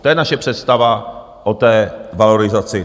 To je naše představa o té valorizaci.